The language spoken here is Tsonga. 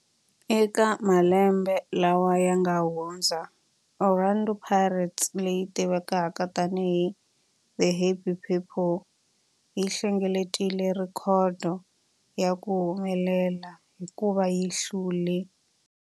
Eka malembe lawa yanga hundza, Orlando Pirates, leyi tivekaka tani hi 'The Happy People', yi hlengeletile rhekhodo ya ku humelela hikuva yi hlule